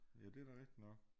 Ja det da rigtig nok